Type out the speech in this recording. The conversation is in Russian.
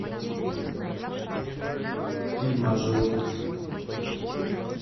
фильмы о животных